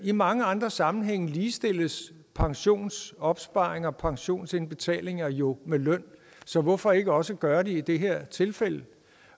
i mange andre sammenhænge ligestilles pensionsopsparinger og pensionsindbetalinger jo med løn så hvorfor ikke også gøre det i det her tilfælde